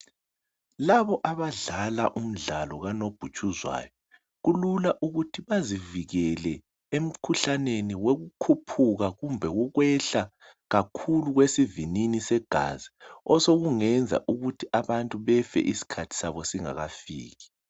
laba abadlala umdlalo ka nobhutshuzwayo kulula ukuthi bazivikele ekhuhlaneni wokukhuphuka kumbe wokwehla kakhulu kwesivinini segazi osokungenza ukuthi abantu befe isikhathi sabosingakafiki